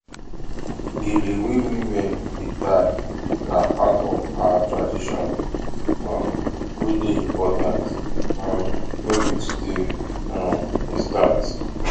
gele wey women dey tie na part of our tradition um wey dey important um no be today um e start